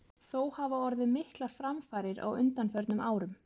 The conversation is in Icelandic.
Þó hafa orðið miklar framfarir á undanförnum árum.